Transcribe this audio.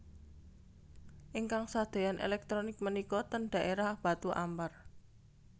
Ingkang sadeyan elektronik menika ten daerah Batu Ampar